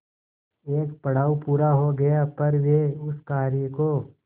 एक पड़ाव पूरा हो गया पर वे उस कार्य को